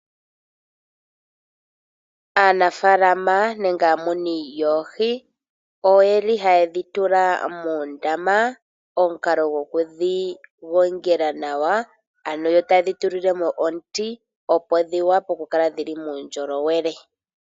Aanafaalama nenge aamuni yoohi oyeli haye dhi tula moondama omukalo goku dhi gongela nawa, ano yo taye dhi tulilemo omuti, opo dhi wape oku kala dhili muundjolowele.